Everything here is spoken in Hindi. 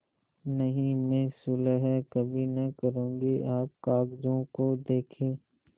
नहीं मैं सुलह कभी न करुँगी आप कागजों को देखें